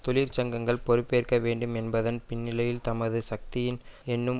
தொழிற்சங்கங்கள் பொறுப்பேற்க வேண்டும் என்பதன் பின்னிலையில் தமது சக்தியின் என்னும்